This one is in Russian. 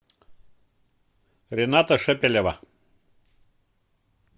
рената шепелева